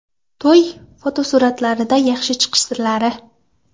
To‘y fotosuratlarida yaxshi chiqish sirlari.